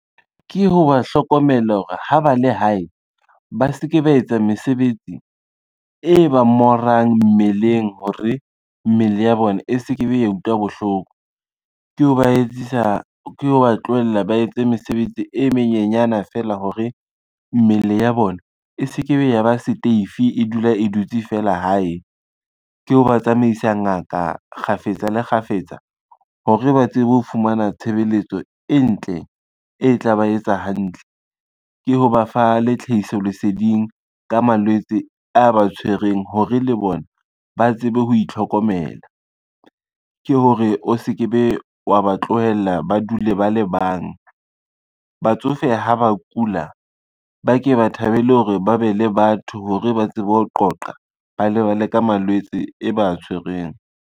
Ke ho ba hlokomela hore ha ba le hae ba se ke ba etsa mesebetsi e ba morang mmeleng hore, mmele ya bona e se ke be ya utlwa bohloko. Ke ho ba tlohela ba etse mesebetsi e menyenyana fela hore, mmele ya bona e se ke be ya ba seteifi e dula e dutse fela hae, ke ho ba tsamaisa ngaka kgafetsa le kgafetsa hore ba tsebe ho fumana tshebeletso e ntle e tla ba etsa hantle, ke ho ba fa le tlhahiso leseding ka malwetse a ba tshwereng hore le bona ba tsebe ho itlhokomela, ke hore o se ke be wa ba tlohella ba dule ba le bang. Batsofe ha ba kula, ba ke ba thabele hore ba be le batho hore ba tsebe ho qoqa, ba lebale ka malwetse e ba tshwerweng.